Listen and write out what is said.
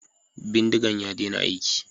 Bindigan ya dena aiki